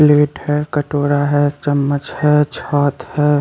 Plate है कटोरा है चम्मच है छत है।